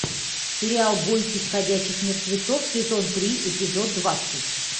сериал бойтесь ходячих мертвецов сезон три эпизод двадцать